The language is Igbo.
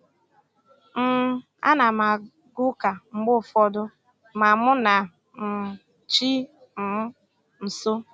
um A na m aga ụka mgbe ụfọdụ ma mụ na um chi um m so